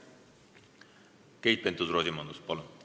Keit Pentus-Rosimannus, palun!